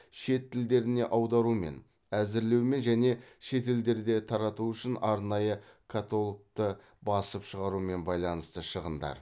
шет тілдеріне аударумен әзірлеумен және шетелдерде тарату үшін арнайы каталогты басып шығарумен байланысты шығындар